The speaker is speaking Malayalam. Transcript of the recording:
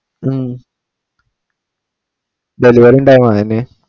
ഉം delivery ഉണ്ടായാ മതി തന്നെ